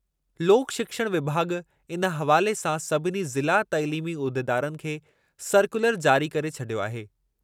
लोक शिक्षण विभाॻ इन हवाले सां सभिनी ज़िला तइलीमी उहिदेदारनि खे सरक्यूलर जारी करे छॾियो आहे।